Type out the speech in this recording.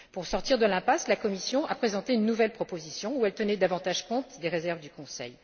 Pour sortir de l'impasse, la Commission a présenté une nouvelle proposition où elle tenait davantage compte des réserves du Conseil.